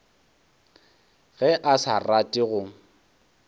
ge a sa rate go